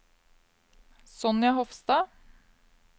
Sonja Hofstad